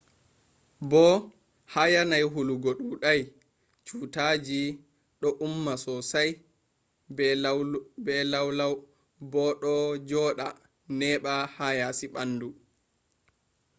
bo ha yanayi hulugo dudai cutaji do umma sosai be laulau bo do joda neba ha yasi bandu